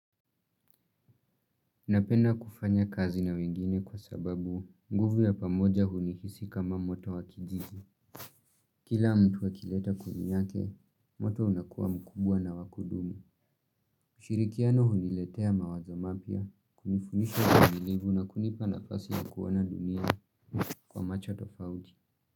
Napenda kufanya kazi na wengine kwa sababu nguvu ya pamoja hunihisi kama moto wakijiji. Kila mtu akileta kuni yake, moto unakua mkubwa na wakudumu. Ushirikiano huniletea mawazo mapya, kunifundisha uvumilivu na kunipa nafasi ya kuona dunia kwa macho tofauti.